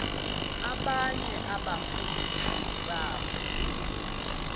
abanye abafundisi ntshapo